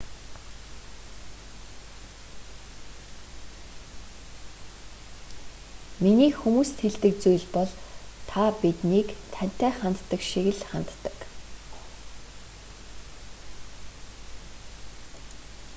миний хүмүүст хэлдэг зүйл бол та биднийг тантай ханддаг шиг л ханддаг